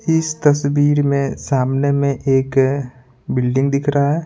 इस तस्वीर में सामने में एक बिल्डिंग दिख रहा है।